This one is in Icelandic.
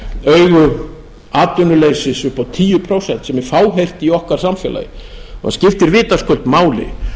augu atvinnuleysis upp á tíu prósent sem er fáheyrt í okkar samfélagi og skiptir vitaskuld máli